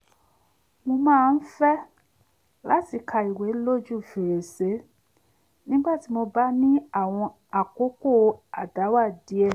mo máa ń fẹ́ láti ka ìwé lójú fèrèsé nígbà tí mo bá ní àwọn àkókò àdáwà díẹ̀